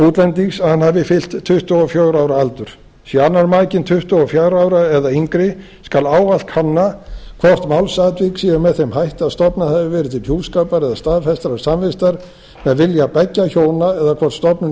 útlendings að hann hafi fyllt tuttugu og fjögurra ára aldur sé annar makinn tuttugu og fjögurra ára eða yngri skal ávallt kanna hvort málsatvik séu með þeim hætti að stofnað hafi verið til hjúskapar eða staðfestrar samvistar með vilja beggja hjóna eða hvort stofnun